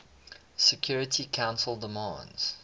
security council demands